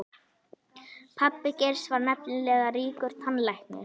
Pabbi Geirs var nefnilega ríkur tannlæknir.